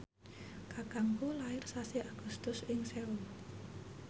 kakangku lair sasi Agustus ing Seoul